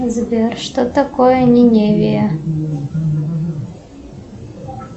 сбер что такое ниневия